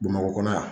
Bamakɔ kɔnɔ yan